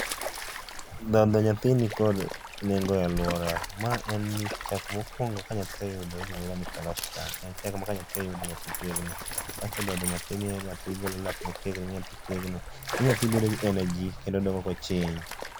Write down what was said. Dhodh nyathi nikod nengo e aluora ma en ni chak mokuongo ka nyathi oyudo iluongo ni colostrum. En chak ma ka nyathi oyudo, nyathi tegno. Kaito dhodho nyathi miyo nyathi golo lak motegno, miyo nyathi tegno, miyo nyathi bedo gi energy kendo odongo ka ochiny